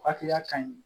Hakilila ka ɲi